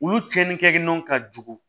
Olu tiɲɛni kɛ nɔn ka jugun